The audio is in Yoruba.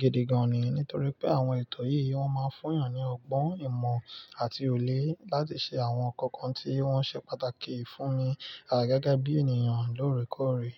gidi gan ni. Nítorí pé àwọn ètò yìí, wọ́n máa ń fún èèyàn ní ọgbọ́n, ìmọ̀ àti òyé láti ṣe àwọn nkankan tí wọ́n ṣe pàtàkì fún mi a gege bí ènìyàn lóòrèkóòrè.